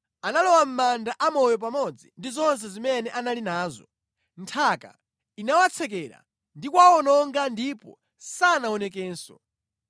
Analowa mʼmanda amoyo pamodzi ndi zonse zimene anali nazo. Nthaka inawatsekera ndi kuwawononga ndipo sanaonekenso.